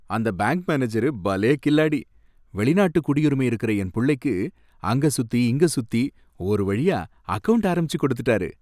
அந்த bank manager பலே கில்லாடி! வெளிநாட்டு குடியுரிமை இருக்குற என் புள்ளைக்கு அங்க சுத்தி இங்க சுத்தி ஒரு வழியா அக்கவுண்ட் ஆரம்பிச்சு கொடுத்துட்டாரு.